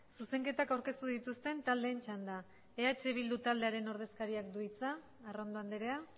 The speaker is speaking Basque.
zuzenketak aurkeztu dituzten taldeen txanda eh bildu ordezkariak du hitza arrondo andrea